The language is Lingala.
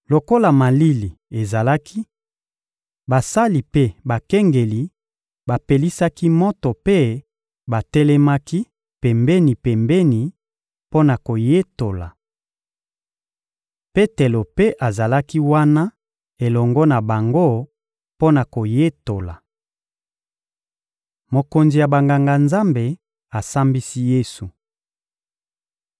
Lokola malili ezalaki, basali mpe bakengeli bapelisaki moto mpe batelemaki pembeni-pembeni mpo na koyetola. Petelo mpe azalaki wana elongo na bango mpo na koyetola. Mokonzi ya Banganga-Nzambe asambisi Yesu (Mat 26.59-66; Mlk 14.55-64; Lk 22.66-71)